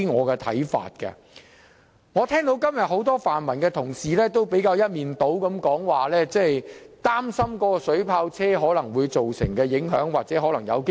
今天，我聽到多位泛民同事一面倒地表示擔心水炮車可能危及示威者的安全。